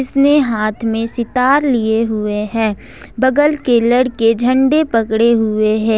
इसने हाथ में सितार लिए हुए हैं बगल के लड़के झंडे पकड़े हुए हैं।